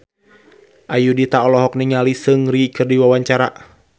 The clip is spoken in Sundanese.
Ayudhita olohok ningali Seungri keur diwawancara